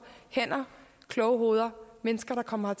hænder kloge hoveder mennesker der kommer